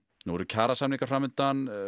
nú eru kjarasamningar fram undan